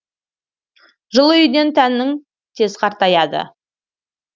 жылы үйден тәнің тез қартаяды